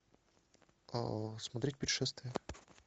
смотреть путешествие